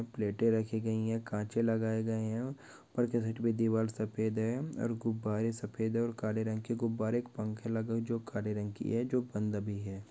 -- प्लेटे रखी गई है कांचे लगाए गए हैं और ऊपर से सेट पर दीवार सफ़ेद है और गुब्बारे सफ़ेद हैं और काले रंग के गुब्बारे को पंखे लगे हुए है जो काले रंग की है जो बंद भी है।